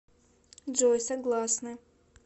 джой согласны